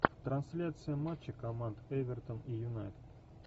трансляция матча команд эвертон и юнайтед